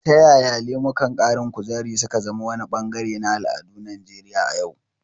Ta yaya lemukan ƙarin kuzari su ka zama wani bangare na al'adun Najeriya a yau?